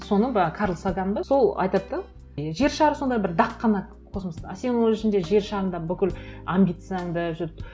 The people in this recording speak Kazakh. соны карл саган ба сол айтады да жер шары сондай бір дақ қана космоста а сен оның ішінде жер шарында бүкіл амбицияң да жүр